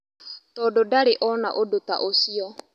Tondũ ndarĩ ona ũndũ ta ũcio.